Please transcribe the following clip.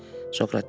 Sokrat dedi.